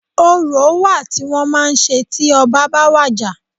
Orò wa tí wọ́n màá ń ṣe tí ọbá ba wàjà.